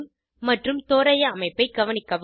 மற்றும் தோராய அமைப்பை கவனிக்கவும்